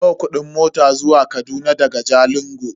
Nawa kudin mota zuwa Kaduna daga Jalingo?